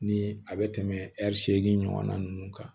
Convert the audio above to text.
Ni a bɛ tɛmɛ ɛri seegin ɲɔgɔnna ninnu kan